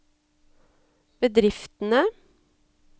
bedriftene